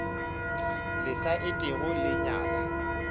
le sa etego le nyala